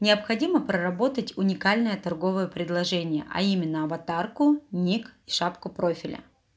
необходимо проработать уникальное торговое предложение а именно аватарку ник и шапку профиля